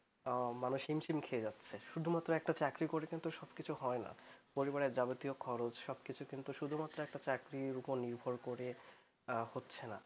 সুধুমাত্র একটা চাকরি করলেই তহ সবকিছু হয়না পরিবারের সব খরচ যাবতীয় একটা চাকরির ওপর নির্ভর করে হচ্ছে না